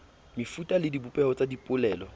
mefuta le dibopeho tsa dipolelo